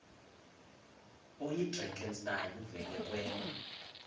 oyidrakenstein uvele kwema